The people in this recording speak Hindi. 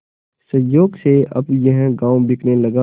संयोग से अब यह गॉँव बिकने लगा